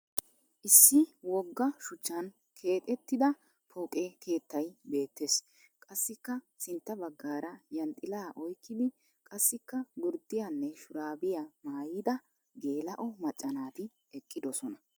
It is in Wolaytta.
Issi wogga shuchchan keexettida pooqe keettay beettes. Qassikka sintta baggaara yanxxilaa oyikkidi qassikka gurddiyanne shuraabiya maayyida geela'o macca naati eqqidosona.